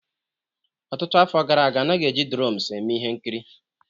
Ọtụtụ afọ gara aga, a naghị eji dromes eme ihe nkiri